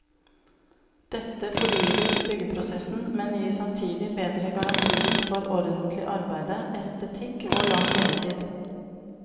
Dette fordyrer byggeprosessen, men gir samtidig bedre garantier for ordentlig arbeide, estetikk og lang levetid.